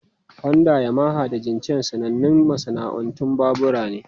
Honda, Yamaha, da Jincheng sanannun masana'antun babura ne.